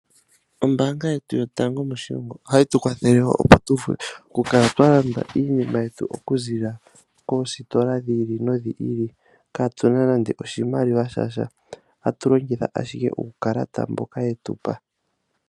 Ombaanga yetu yotango moshilongo, ohayi tu kwathele woo opo tu vule oku kala twa landa iinima yetu oku ziilila koositola dhi ili nodhi ili, kaatuna nande oshimaliwa shasha, tatu longitha owala uukalata mboka yetu pa.